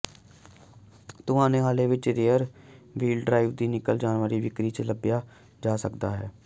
ਤੁਹਾਨੂੰ ਹਾਲੇ ਵੀ ਰੀਅਰ ਵ੍ਹੀਲ ਡਰਾਈਵ ਦੀ ਨਕਲ ਦੀ ਵਿਕਰੀ ਵਿੱਚ ਲੱਭਿਆ ਜਾ ਸਕਦਾ ਹੈ